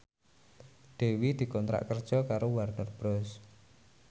Dewi dikontrak kerja karo Warner Bros